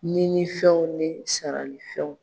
Nini fɛnw ni sarali fɛnw